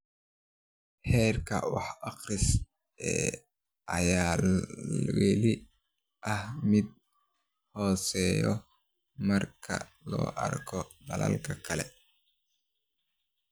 Heerka wax-akhris ee ayaa weli ah mid hooseeya marka loo eego dalalka kale.